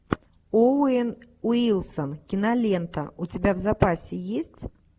оуэн уилсон кинолента у тебя в запасе есть